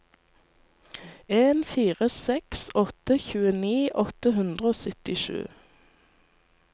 en fire seks åtte tjueni åtte hundre og syttisju